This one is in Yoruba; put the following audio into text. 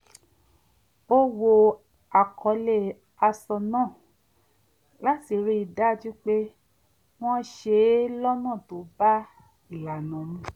ó wo àkọlé aṣọ náà láti rí i dájú pé wọ́n ṣe é lọ́nà tó bá ìlànà mu